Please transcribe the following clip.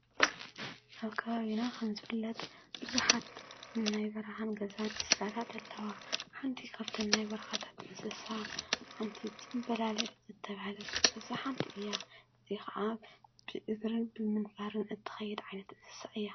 ኣብ ከባቢና ከምዝፍለጥ ብዙሓት ናይ በረኻን ገዛን እንስሳታት ኣለው፡፡ ሓንቲ ካብተን ናይ በርኻታት እንስሳ ሓንቲ ፅምበላሊዕ ዝተብለት እንስሳ ሓንቲ እያ፡፡ እዚ ኸዓ ብእግርን ብምንፍርን እትኸይድ ዓይነት እንስሳ እያ፡፡